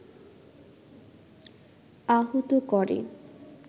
আহত করে